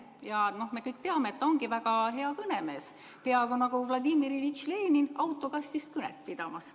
Ja me kõik teame, et ta ongi väga hea kõnemees, peaaegu nagu Vladimir Iljitš Lenin autokastist kõnet pidamas.